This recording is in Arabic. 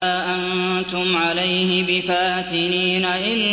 مَا أَنتُمْ عَلَيْهِ بِفَاتِنِينَ